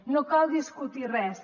no cal discutir res